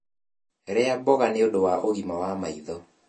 rĩa mboga nĩũndũ wa ũgima wa maĩ tho